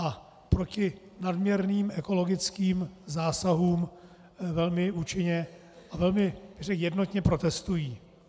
A proti nadměrným ekologickým zásahům velmi účinně a velmi jednotně protestují.